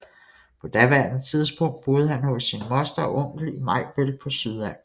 På daværende tidspunkt boede han hos sin moster og onkel i Majbøl på Sydals